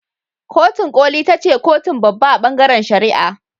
Kotun koli ita ce kotun babba a bangaren shari'a.